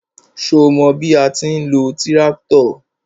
Ṣo mọ bí a ti ń lo tíráktọ̀?